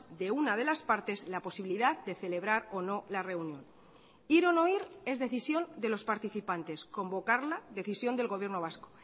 de una de las partes la posibilidad de celebrar o no la reunión ir o no ir es decisión de los participantes convocarla decisión del gobierno vasco